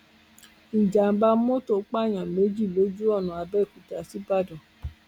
ìjàḿbà mọtò pààyàn méjì lójú ọnà àbẹọkúta ṣígbàdàn